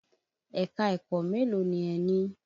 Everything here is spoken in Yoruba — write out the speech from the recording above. Ẹ̀ka-ẹ̀kọ́ mélòó ni ẹ ní?